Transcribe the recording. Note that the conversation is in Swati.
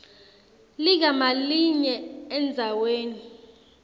ligama linye endzaweni